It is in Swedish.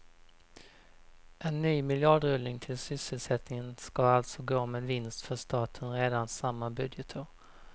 En ny miljardrullning till sysselsättningen ska alltså gå med vinst för staten redan samma budgetår.